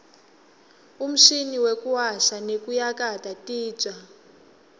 umshini wekuwasha nekuyakata titja